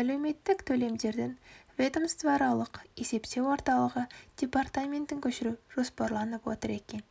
әлеуметтік төлемдердің ведомствоаралық есептеу орталығы департаментін көшіру жоспарланып отыр екен